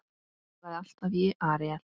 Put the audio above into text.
Hafið togaði alltaf í Aríel.